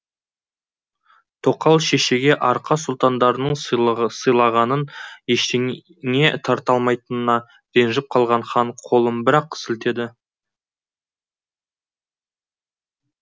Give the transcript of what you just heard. тоқал шешеге арқа сұлтандарының сыйлығынан ештеңе тарта алмайтынына ренжіп қалған хан қолын бір ақ сілтеді